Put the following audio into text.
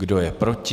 Kdo je proti?